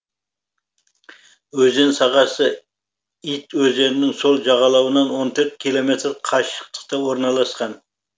өзен сағасы ить өзенінің сол жағалауынан он төрт километр қашықтықта орналасқан